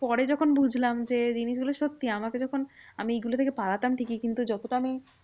পরে যখন বুঝলাম যে জিনিসগুলো সত্যি। আমাকে যখন আমি এইগুলো থেকে পালাতাম ঠিকই কিন্তু যতটা আমি